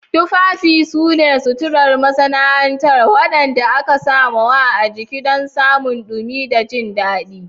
Tufafi su ne suturar masana'anta waɗanda aka sawa a jiki don samun dumi da jin daɗi.